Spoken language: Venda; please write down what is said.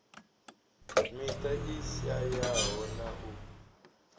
miṱa i shayaho na u